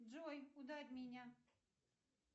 джой ударь меня